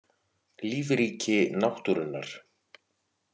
Lífríki náttúrunnar.